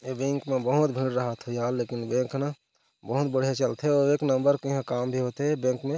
ऐ बैंक म बहुत भीड़ राहत होही यार लेकिन बैंक ह ना बहुत बढ़िया चलथे अउ एक नंबर के यहाँ काम भी होथे बैंक में--